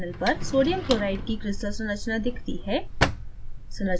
panel पर sodium chloride की crystal संरचना दिखती है